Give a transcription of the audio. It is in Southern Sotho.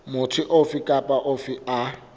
motho ofe kapa ofe a